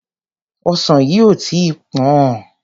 Ọsàn yìí ò tí ì pọ̀n-ọ́n.